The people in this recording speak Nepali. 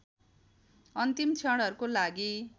अन्तिम क्षणहरूको लागि